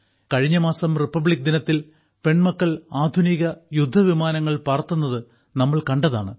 കഴിഞ്ഞ മാസം റിപ്പബ്ലിക് ദിനത്തിൽ പെൺമക്കൾ ആധുനിക യുദ്ധവിമാനങ്ങൾ പറത്തുന്നതു നമ്മൾ കണ്ടതാണ്